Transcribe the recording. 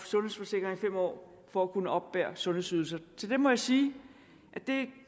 sundhedsforsikring fem år for at kunne oppebære sundhedsydelser til det må jeg sige at det